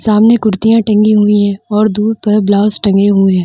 सामने कुर्तियां टंगी हुई हैं और दूर पर ब्लाउज़ टंगे हुए हैं।